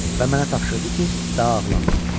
Və mənə tapşırdı ki, daha ağlamayım.